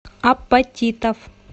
апатитов